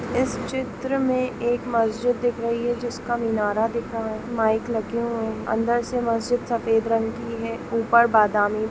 इस चित्र में एक मस्जिद दिख रही है जो जिसका मीनार दिख रहा है मायिक लगे हुए है अंदर से मस्जिद सफ़ेद रंग की है ऊपर बादमे--